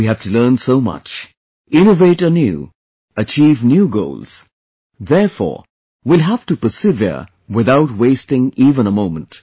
We have to learn so much, innovate anew, achieve new goals, therefore , we will have to persevere without wasting even a moment